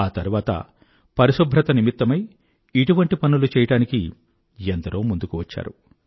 ఆ తరువాత పరిశుభ్రత నిమిత్తమై ఇటువంటి పనులు చెయ్యడానికి ఎందరో ముందుకు వచ్చారు